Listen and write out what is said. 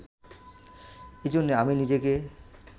এজন্যে আমি নিজেকে